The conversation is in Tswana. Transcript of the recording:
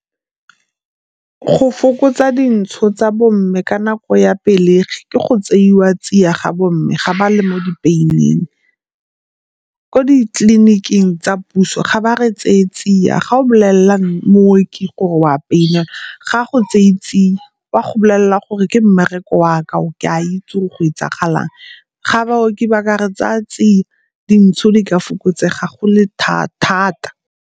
Go fokotsa dintsho tsa bo mme ka nako ya pelegi ke go tseiwa tsia ga bo mme ga ba le mo di-pain-ing. Ko ditleliniking tsa puso ga ba re tseye tsia ga o bolelela mooki gore o a pain-elwa ga a go tseye tsia o a go go bolelela gore, ke mmereko waka o ke a itse go etsagalang. Ga baoki ba ka re tsaya tsia dintsho di ka fokotsega go le thata.